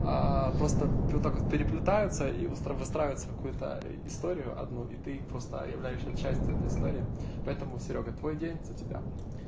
просто вот так вот переплетаются и выстра выстраиваются в какую-то историю одну и ты просто являешься частью этой истории поэтому серёга твой день за тебя